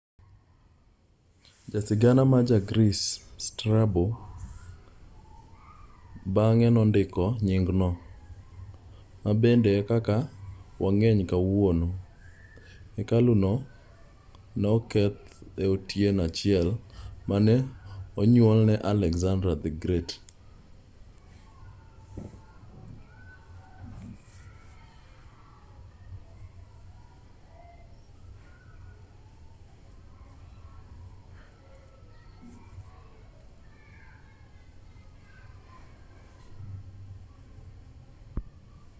jasigana ma ja greece strabo bang'e nondiko nyingno ma bende e kaka wang'eye kawuono hekalu no ne okethi e otieno achiel mane onyuolie alexander the great